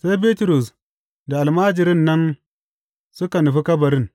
Sai Bitrus da almajirin nan suka nufi kabarin.